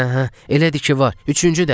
Hə, hə, elədir ki, var, üçüncü dəlik!